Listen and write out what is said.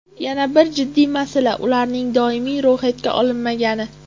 Yana bir jiddiy masala ularning doimiy ro‘yxatga olinmagani.